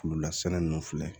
Kulolasɛnɛ ninnu filɛ